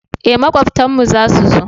eh makwabtan mu za su zo